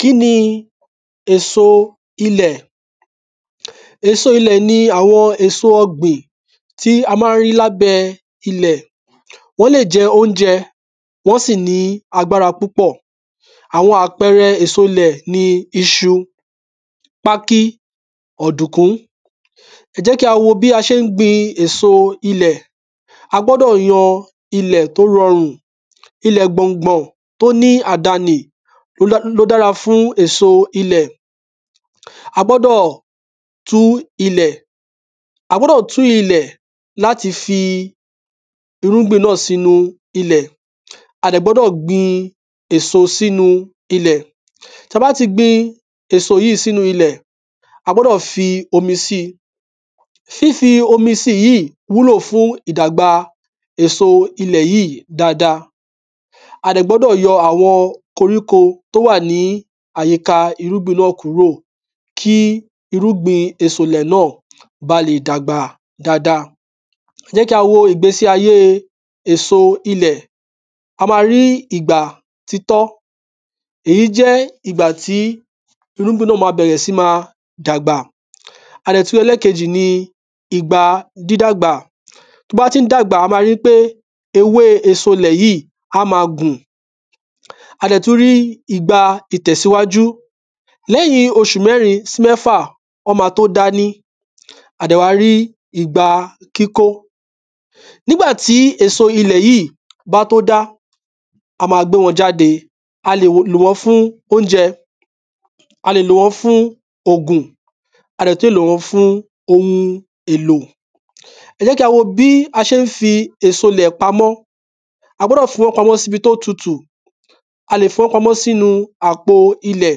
Kí ni èso ilẹ̀? Èso ilẹ̀ ni àwọn èso ọgbìn tí a má ń rí l’ábẹ́ ilẹ̀. Wọ́n lè jẹ́ óunjẹ. Wọ́n sì ní agbára púpọ̀. Àwọn àpẹrẹ èso’lẹ̀ ni iṣu, pákí, ọ̀dùnkún. Ẹ jẹ̀ kí a wo bí a ṣé ń gbin èso ilẹ̀. A gbọ́dọ̀ yan ilẹ̀ tó rọrùn Ilẹ̀ gbọ̀ngbọ̀n tó ní àdanì ló dára fún èso ilẹ̀. A gbọ́dọ̀ tú ilẹ̀ l’áti fi irúgbìn sí ilẹ̀. A dẹ̀ gbọ́dọ̀ gbin èso s’ínu ilẹ̀. T’a bá tí gbin èso yí s’ínu ilẹ̀, a gbọ́dọ̀ f’omi si. Fífi omi si yìí wúlò fún ìdàgba èso ilẹ̀ yíì dada. A dẹ̀ gbọ́dọ̀ àwọn koríko t’ó wà ní àyíka irúgbìn náà kúrò. Kí irúgbìn èso ilẹ̀ náà ba lè dàgbà dada Ẹ jẹ̀ kí a wo ìgbésí ayé èso ilẹ̀. A ma rí ìgbà títọ́. Èyí jẹ́ ìgbà tí irúgbìn náà ma bẹ̀rẹ̀ sí ma dàgbà. A dẹ̀ tú rí ẹlẹ́kejì ni ìgba dídàgbà T’ọ́ bá tí ń dàgbà a ma rí ń pé ewé èso ilẹ̀ yíì á ma gùn. A dẹ̀ tú rí ìgba ìtẹ̀síwájú. Lẹ́yìn oṣù mẹ́rin sí mẹ́fà, ọ́ ma t’ó dání. A dẹ̀ wá rí ìgba kíkó. N’ígbà tí èso ilẹ̀ yíì bá tó dá, a ma gbé wọn jáde. A lè lò wọ́n fún óunjẹ. A lè lò wọ́n fún ògùn. A lè lò wọ́n fún ohun èlò. Ẹ jẹ̀ kí a wo bí a ṣé ń fi èso ilẹ̀ pamọ́. A gbọ́dọ̀ fi wọ́n pamọ́ s’íbi t’ó tutù A lè fi wọ́n pamọ́ s’ínu àpo ilẹ̀.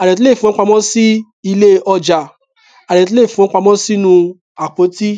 A dẹ̀ tú lè fi wọ́n pamọ́ sí ilé ọjà. A dẹ̀ tú lè fi wọ́n pamọ́ s’ínu àpótí.